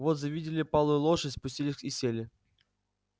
вот завидели палую лошадь спустились и сели